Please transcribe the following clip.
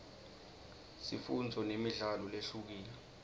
sifundzo nemidlalo lehlukile